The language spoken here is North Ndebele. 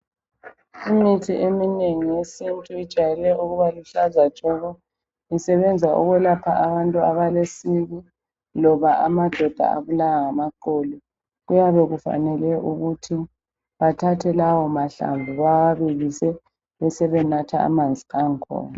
Imithi eminengi yesintu ijwayele ukuba luhlaza tshoko isebenza ukwelapha abantu abale siki loba amadoda abulawa ngamaqolo kuyabe kufanele ukuthi athathe lawo mahlamvu bawabilise besebenatha amanzi angkhona.